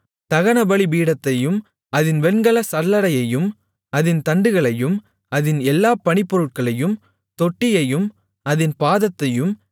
தகனபலிபீடத்தையும் அதின் வெண்கலச் சல்லடையையும் அதின் தண்டுகளையும் அதின் எல்லா பணிப்பொருட்களையும் தொட்டியையும் அதின் பாதத்தையும்